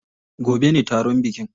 Gobe ne taron bikin.